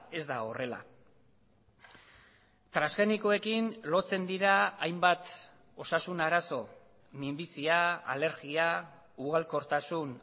ez da horrela transgenikoekin lotzen dira hainbat osasun arazo minbizia alergia ugalkortasun